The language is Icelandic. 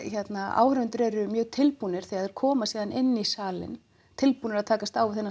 áhorfendur eru mjög tilbúnir þegar þeir koma síðan inn í salinn tilbúnir að takast á við þennan